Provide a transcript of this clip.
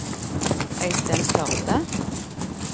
Øystein Førde